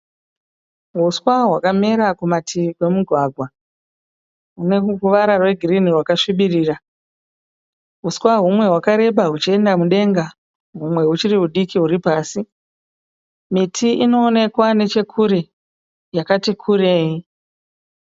Uswa hwakamera kumativi pemugwagwa hune ruvara rwegirinhi rwakasvibirira. Huswa humwe hwakareba huchienda mudenga humwe huchiri hudiki huri pasi. Miti inoonekwa nechekure yakati kurei.